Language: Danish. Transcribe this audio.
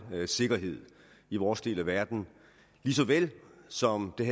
sikkerhed i vores del af verden lige så vel som det